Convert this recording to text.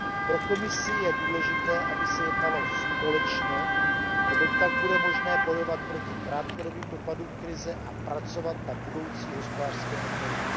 Pro Komisi je důležité, aby se jednalo společně, neboť tak bude možné bojovat proti krátkodobým dopadům krize a pracovat na budoucí hospodářské obnově.